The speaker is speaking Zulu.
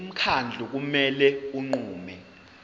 umkhandlu kumele unqume